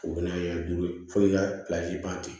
O bɛna duuru ye f'i ka ban ten